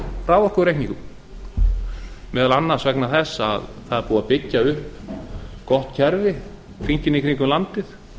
raforkureikningum meðal annars vegna þess að það er búið að byggja upp gott kerfi hringinn í kringum landið